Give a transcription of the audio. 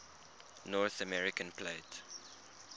north american plate